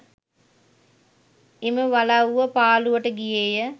එම වලව්ව පාළුවට ගියේය